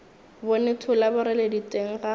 bone thola boreledi teng ga